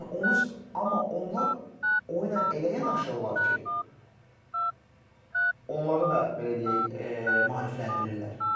Yəni onu, amma onlar o ilə elə yanaşırlar ki, onları da belə deyək maarifləndirirlər.